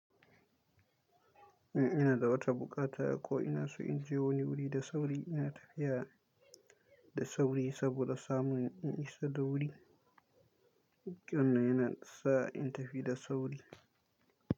In ina da wata buƙata ko ina so in je wani wuri da sauri, ina tafiya da sauri saboda samun in isa da wuri. Kiran nan yana sa in tafi da sauri.